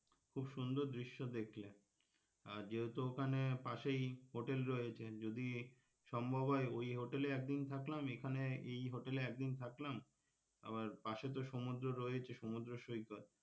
খুব সুন্দর দৃশ্য দেখলে আর যেহেতু ওখানে পাশেই হোটেল রয়েছে যদি সম্ভব হয় ওই হোটেলে একদিন থাকলাম এখানে এই হোটেলে একদিন থাকলাম আবার পাশে তো সমুদ্র রয়েইছে সমুদ্রসৈকত,